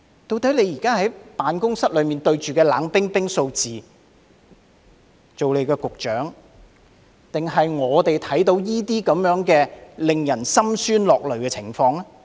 局長坐在辦公室內當局長，對着冷冰冰的數字，我們則看到這些令人心酸落淚的情況。